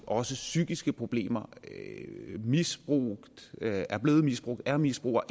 også psykiske problemer og misbrug man er blevet misbrugt er misbruger